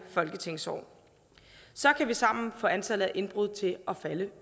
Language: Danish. folketingsår så kan vi sammen få antallet af indbrud til at falde